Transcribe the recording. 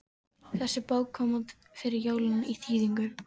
Þessi bók kom út fyrir jólin í þýðingu